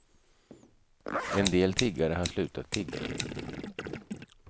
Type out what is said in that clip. En del tiggare har slutat tigga.